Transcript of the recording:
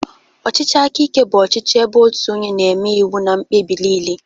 Ọchịchị aka ike bụ ọchịchị ebe otu onye na-eme iwu na mkpebi niile